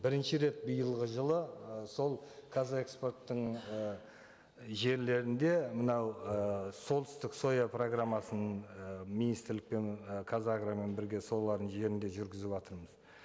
бірінші рет биылғы жылы ы сол қазэкспорттың ы жерлерінде мынау ы солтүстік соя программасын ы министрлікпен і қазагромен бірге солардың жерінде жүргізіватырмыз